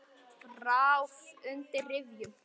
Ráð undir rifjum.